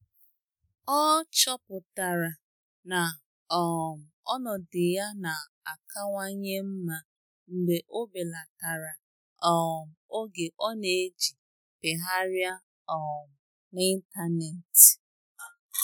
Ọ́ chọ́pụ̀tárà na um ọnọdụ ya nà-àkàwànyé mma mgbe ọ́ bèlàtàrà um oge ọ́ nà-èjí pịgharịa um n’ị́ntánétị̀.